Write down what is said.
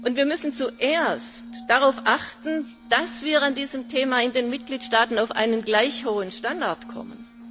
Wir müssen zuerst darauf achten, dass wir bei diesem Thema in den Mitgliedstaaten auf einen gleich hohen Standard kommen.